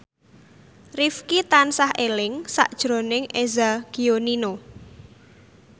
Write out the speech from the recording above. Rifqi tansah eling sakjroning Eza Gionino